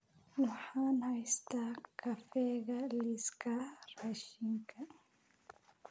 Waxaan haystaa kafeega liiska raashinka